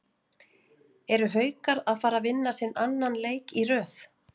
ERU HAUKAR AÐ FARA AÐ VINNA SINN ANNAN LEIK Í RÖÐ???